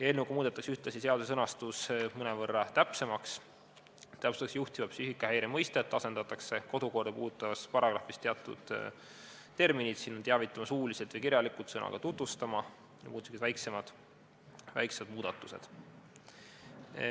Eelnõuga muudetakse ühtlasi seaduse sõnastust mõnevõrra täpsemaks, täpsustatakse juhtiva psüühikahäire mõistet, asendatakse kodukorda puudutavas paragrahvis teatud terminid ja tehakse muud sellised väiksed muudatused.